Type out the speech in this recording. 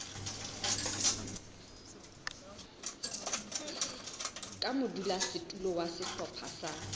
ka modulasetulo wa sehlopha sa